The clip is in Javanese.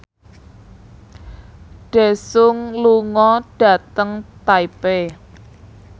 Daesung lunga dhateng Taipei